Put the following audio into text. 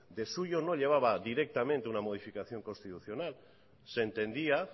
el suyo no llevaba directamente una modificación constitucional se entendía